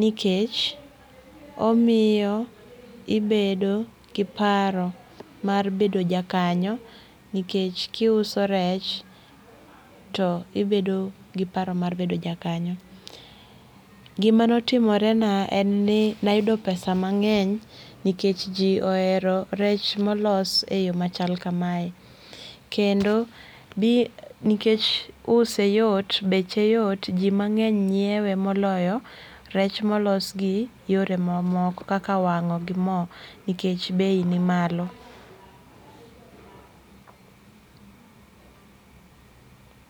nikech omiyo ibedo gi paro mar bedo jakanyo nikech kiuso rech tibedo gi paro mar bedo jakanyo. Gima notimore na en ni nayudo pesa mangeny nikech jii ohero rech molos e yoo machal kamae kendo nikech use yot, beche yot, jii mangeny nyiewe moloyo rech molos gi yore mamoko kaka wango gi moo nikech bei ni malo